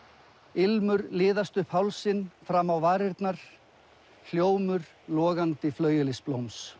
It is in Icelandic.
ilmur liðast upp hálsinn fram á varirnar hljómur logandi